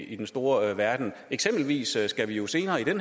i den store verden eksempelvis skal vi jo senere i